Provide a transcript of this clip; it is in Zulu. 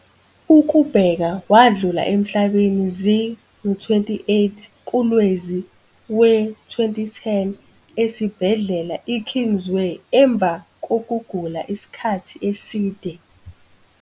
Ukubheka wadlula emhla zi-28 kuLwezi we-2010 esibhedlela i-Kingsway emva kokugula isikhathi eside.